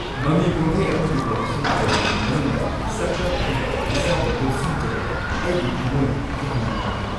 ꯃꯃꯤ ꯀꯨꯝꯍꯩ ꯑꯃꯒꯤ ꯑꯣꯗꯤꯁꯟ ꯇꯧꯔꯤꯉꯩ ꯃꯅꯨꯡꯗ ꯁꯛꯇꯝ ꯑꯗꯨꯗ ꯏꯁꯥꯕꯨ ꯂꯨꯞꯁꯤꯟꯖꯕꯗ ꯑꯩꯒꯤ ꯊꯝꯃꯣꯏ ꯌꯥꯝꯅ ꯅꯨꯡꯉꯥꯏꯔꯦ꯫